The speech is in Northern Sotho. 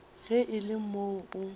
ge e le moo o